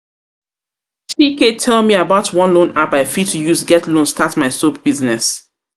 ike tell me about one loan app I fit use get loan start my soap business